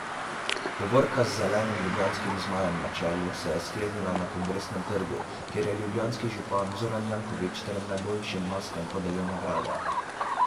Povorka z zelenim ljubljanskim zmajem na čelu se je sklenila na Kongresnem trgu, kjer je ljubljanski župan Zoran Janković trem najboljšim maskam podelil nagrade.